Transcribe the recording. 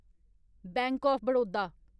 bank of Baroda